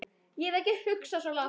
Ég hef ekki hugsað svo langt.